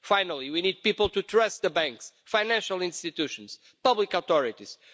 Finally, we need people to trust the banks, financial institutions, public authorities.